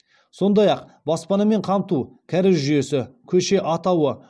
сондай ақ баспанамен қамту кәріз жүйесі көше атауы